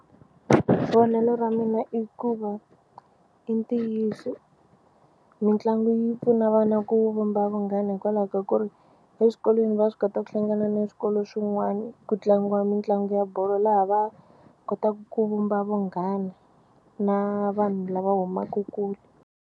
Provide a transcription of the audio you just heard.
Vonelo ra mina i ku va i ntiyiso mitlangu yi pfuna vana ku vumba vunghana hikwalaho ka ku ri eswikolweni va swi kota ku hlangana na swikolo swin'wana ku tlangiwa mitlangu ya bolo laha va kotaka ku vumba vunghana na vanhu lava humaka kule.